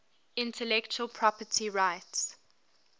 intellectual property rights